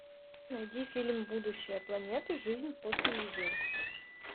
найди фильм будущее планеты жизнь после людей